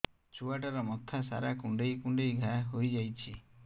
ଛୁଆଟାର ମଥା ସାରା କୁଂଡେଇ କୁଂଡେଇ ଘାଆ ହୋଇ ଯାଇଛି